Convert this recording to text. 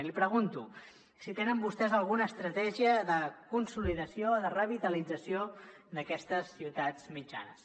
i li pregunto si tenen vostès alguna estratègia de consolidació de revitalització d’aquestes ciutats mitjanes